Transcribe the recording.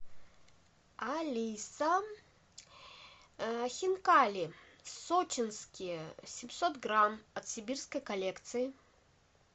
алиса хинкали сочинские семьсот грамм от сибирской коллекции